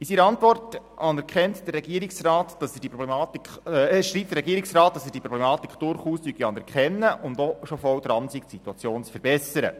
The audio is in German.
In seiner Antwort schreibt der Regierungsrat, er anerkenne diese Problematik durchaus und sei auch schon voll dabei, die Situation zu verbessern.